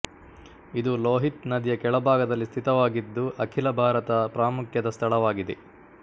ಇದು ಲೋಹಿತ್ ನದಿಯ ಕೆಳಭಾಗದಲ್ಲಿ ಸ್ಥಿತವಾಗಿದ್ದು ಅಖಿಲ ಭಾರತ ಪ್ರಾಮುಖ್ಯದ ಸ್ಥಳವಾಗಿದೆ